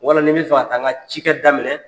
Wala ni n bɛ fɛ ka taa n ka cikɛ daminɛ.